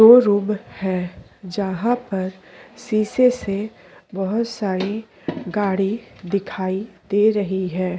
Showroom है जहां पर शीशे से बहुत सारी गाड़ी दिखाई दे रही है।